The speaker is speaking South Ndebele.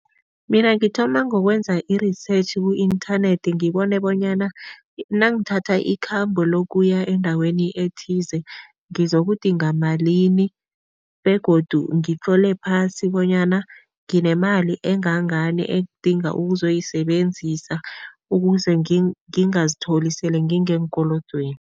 Mina ngithoma ngokwenza i-research ku-inthanethi, ngibone bonyana nangithatha ikhambo lokuya endaweni ethize ngizokudinga malini begodu ngitlole phasi bonyana nginemali engangani engidinga ukuzoyisebenzisa ukuze ngingazitholi sele ngingeenkolodweni.